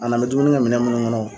A n'an mɛ dumunikɛ minɛn minnu kɔnɔ.